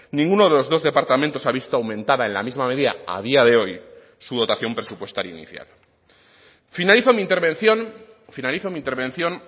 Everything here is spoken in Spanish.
ninguno de los dos departamentos ha visto aumentada en la misma media a día de hoy su dotación presupuestaria inicial finalizo mi intervención finalizo mi intervención